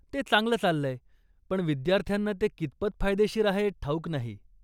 ते चांगलं चाललंय, पण विद्यार्थ्यांना ते कितपत फायदेशीर आहे ठाऊक नाही.